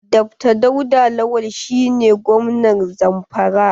Dr dauda lawal shi ne gwamnan Zamfara.